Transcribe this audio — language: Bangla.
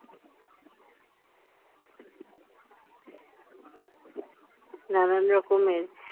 নানান রকমের